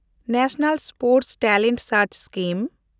national sports talent search scheme